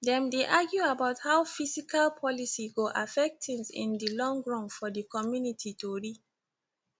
dem dey argue about how fiscal policies go affect things in di long run for di community tori